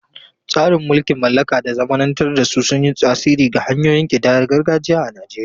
Tasirin mulkin mallaka da zamanantar da su sun yi tasiri ga hanyoyin kidayar gargajiya a Najeriya.